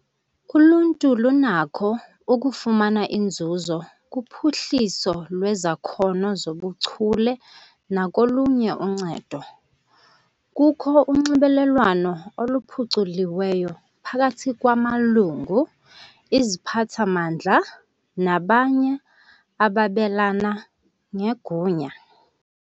Uluntu lunakho ukufumana inzuzo kuphuhliso lwezakhono zobuchule nakolunye uncedo. Kukho unxibelelwano oluphuculiweyo phakathi kwamalungu, iziphathamandla nabanye ababelana ngegunya.